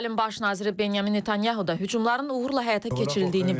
İsrailin baş naziri Binyamin Netanyahu da hücumların uğurla həyata keçirildiyini bildirib.